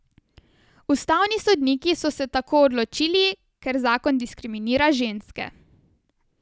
Ustavni sodniki so se tako odločili, ker zakon diskriminira ženske.